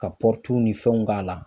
Ka ni fɛnw k'a la.